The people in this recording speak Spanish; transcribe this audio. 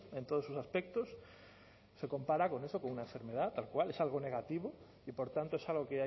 en todos sus aspectos se compara con eso con una enfermedad tal cual es algo negativo y por tanto es algo